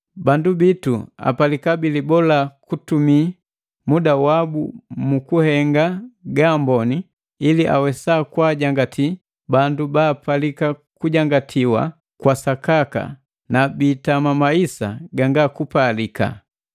Bandu bitu apalika bilibola kutumi muda wabu mu kuhenga gaamboni, ili awesa kwaajangati bandu baapalika kujangatiwa kwa sakaka na biitama maisa ganga kupalika.